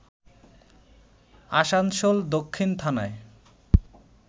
আসানসোল দক্ষিণ থানায়